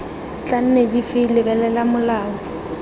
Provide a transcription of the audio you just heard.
tla nne dife lebelela molao